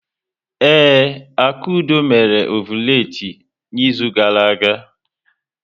Ee, Akudo mere ọvụletị n'izu gara aga.